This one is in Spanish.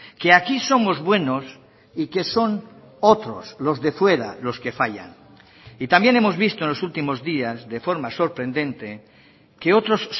que aquí somos buenos y que son otros los de fuera los que fallan y también hemos visto en los últimos días de forma sorprendente que otros